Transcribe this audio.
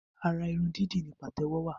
Ara irun dídì ni pàtẹ́wọ́ wa